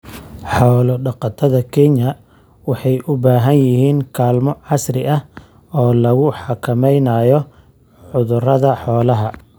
Xoolo-dhaqatada Kenya waxay u baahan yihiin kaalmo casri ah oo lagu xakameynayo cudurrada xoolaha.